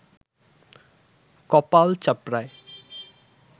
কপাল চাপড়ায়